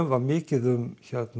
var mikið um